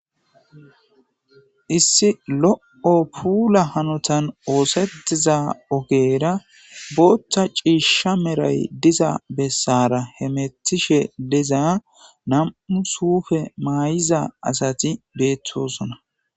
Issi lo7o pula hanotan oosetiza ogeera booththa ciishsha meray diza bessara he metishe deza nam7u suufe maay7iza asati beettosona.